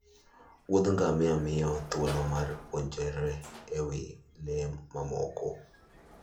Wuodh ngamia miyowa thuolo mar puonjore e wi le mamoko